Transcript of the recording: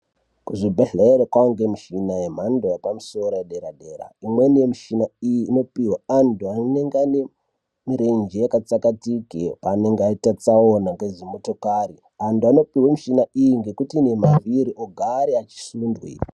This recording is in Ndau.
Kuzvibhehlera kwenge nemushina yamhando yepamusoro yedera dera imweni yemushina iyi inopirwa antu anenge anemirenje yakatsakatike panenge aita tsaona ngedzimotokari antu anopirwa mushina iyi ngekuti ine mavhiri ogare achisundwe.